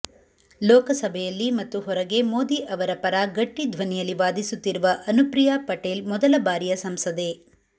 ಲೋಕಸಭೆಯಲ್ಲಿ ಮತ್ತು ಹೊರಗೆ ಮೋದಿ ಅವರ ಪರ ಗಟ್ಟಿ ಧ್ವನಿಯಲ್ಲಿ ವಾದಿಸುತ್ತಿರುವ ಅನುಪ್ರಿಯಾ ಪಟೇಲ್ ಮೊದಲ ಬಾರಿಯ ಸಂಸದೆ